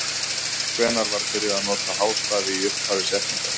Hvenær var byrjað að nota hástafi í upphafi setninga?